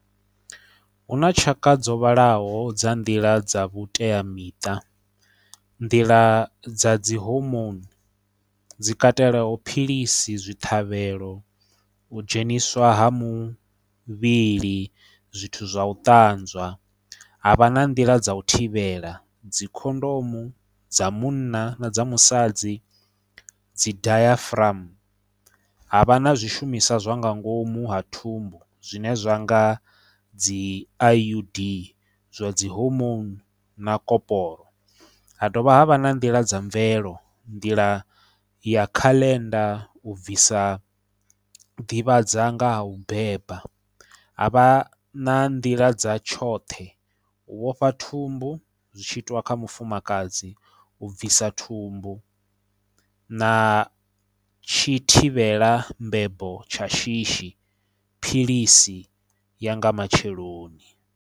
Huna tshaka dzo vhalaho dza nḓila dza vhuteamiṱa nḓila dza dzi hormone dzi katelaho philisi zwi ṱhavhelo u dzheniswa ha muvhili zwithu zwa u ṱanzwa ha vha na nḓila dza u thivhela dzi khondomo dza munna na dza musadzi dzi dayafuramu havha na zwishumiswa zwa nga ngomu ha thumbu zwine zwa nga dzi IUD zwa dzi hormone na koporo ha dovha ha vha na nḓila dza mvelo nḓila ya kale tenda u bvisa ḓivhadzana nga ha u beba ha vha na nḓila dza tshoṱhe u vhofha thumbu zwi tshiitwa kha mufumakadzi u bvisa thumbu na tshi thivhela mbebo tsha shishi philisi ya nga matsheloni.